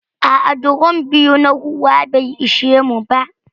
A'a, drom biyu na ruwa bai ishe mu ba.